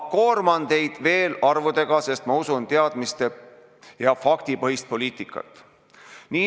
Ma koorman teid veel arvudega, sest ma usun teadmiste- ja faktipõhisesse poliitikasse.